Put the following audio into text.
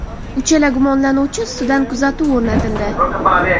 Uchala gumonlanuvchi ustidan kuzatuv o‘rnatildi.